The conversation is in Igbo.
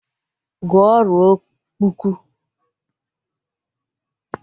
Gụọ ruo kpuku!